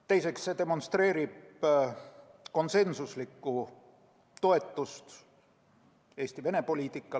Teiseks, see demonstreerib konsensuslikku toetust Eesti Venemaa-poliitikale.